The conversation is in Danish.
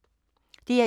DR1